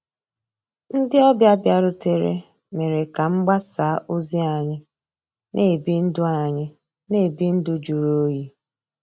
Ndị́ ọ̀bịá bìàrùtérè mérè ká mgbàsá òzí ànyị́ ná-èbí ndụ́ ànyị́ ná-èbí ndụ́ jụ̀rụ́ òyì.